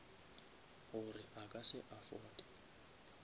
gore a ka se afforde